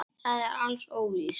Það er alls óvíst.